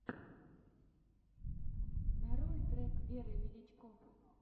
нарой трек веры величко